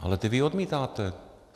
Ale ty vy odmítáte.